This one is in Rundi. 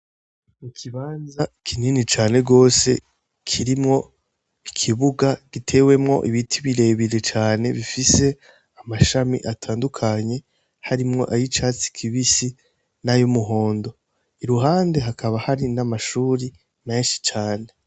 Ikibanza kinini cane gose kirimwo ikibuga gitewemwo ibiti birebire cane bifise amashami atandukanye, harimwo n'ay'icatsi kibisi, n'ay'umuhondo. Iruhande hakaba hari n'amahuri menshi cane.